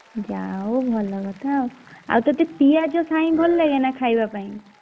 ଯା ହଉ ଭଲ କଥା ଆଉ ଆଉ ତତେ ପିଆଜ ସାଇଁ ଭଲ ଲାଗେ ନା ଖାଇବା ପାଇଁ?